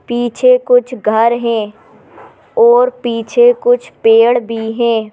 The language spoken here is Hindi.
पीछे कुछ घर हैं और पीछे कुछ पेड़ भी हैं।